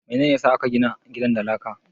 Mene ne ya sa aka gina gidan da laka?